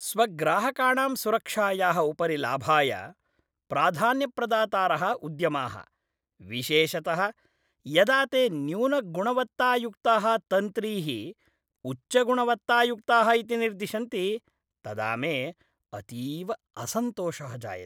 स्वग्राहकाणां सुरक्षायाः उपरि लाभाय प्राधान्यप्रदातारः उद्यमाः, विशेषतः यदा ते न्यूनगुणवत्तायुक्ताः तन्त्रीः उच्चगुणवत्तायुक्ताः इति निर्दिशन्ति, तदा मे अतीव असन्तोषः जायते।